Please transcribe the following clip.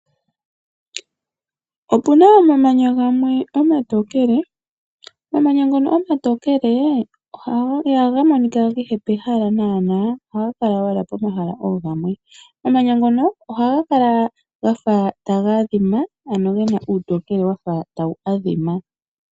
Opu na omamanya gamwe omatookele . Omamanya ngano omatookele ihaga monika kehe pehala naanaa ohaga kala owala pomahala oogamwe . Omamanya ngo ohaga kala hafa taga adhima ano gena uutokele wafa tawu adhima .